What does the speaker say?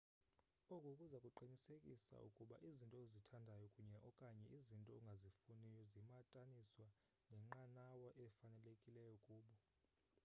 oku kuza kuqinisekisa ukuba izinto ozithandayo kunye/okanye izinto ongazifuniyo zimataniswa nenqanawa efanelekileyo kubo